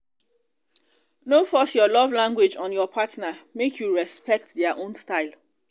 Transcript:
no force your love language on your partner make you respect their own style